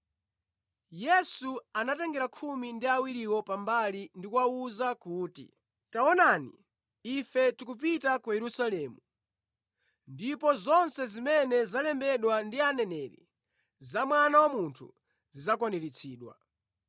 Yesu anatengera khumi ndi awiriwo pambali ndi kuwawuza kuti, “Taonani ife tikupita ku Yerusalemu, ndipo zonse zimene zalembedwa ndi Aneneri za Mwana wa Munthu zidzakwaniritsidwa.